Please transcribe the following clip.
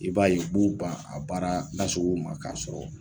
I b'a ye u b'u ban a baara nasugu ma k'a sɔrɔ